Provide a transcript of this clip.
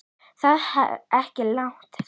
Ég þarf ekki langan svefn.